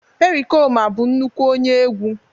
pericoma bụ nnukwu onye n'egwu